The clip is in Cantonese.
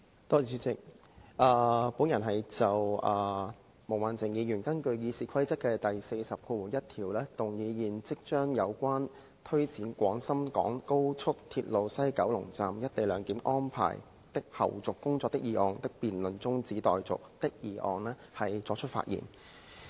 我就毛孟靜議員根據《議事規則》第401條動議現即將"有關推展廣深港高速鐵路西九龍站'一地兩檢'安排的後續工作的議案"辯論中止待續的議案發言。